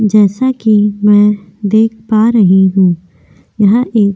जैसा कि मैं देख पा रही हूं यह एक --